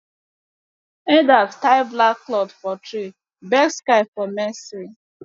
elders tie black cloth for tree beg sky for mercy